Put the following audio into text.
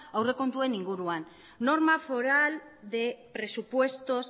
aurrekontuen inguruan norma foral de presupuestos